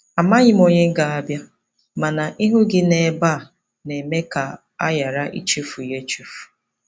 Amaghị m onye ga-abịa, mana ịhụ gị ebe a na-eme ka a ghara ịchefu ya echefu.